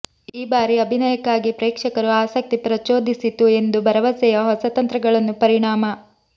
ಈ ಬಾರಿ ಅಭಿನಯಕ್ಕಾಗಿ ಪ್ರೇಕ್ಷಕರು ಆಸಕ್ತಿ ಪ್ರಚೋದಿಸಿತು ಎಂದು ಭರವಸೆಯ ಹೊಸ ತಂತ್ರಗಳನ್ನು ಪರಿಣಾಮ